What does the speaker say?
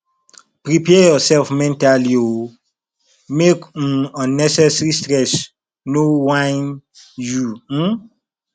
prepare urself mentally o mek um unnecessary stress no whine you um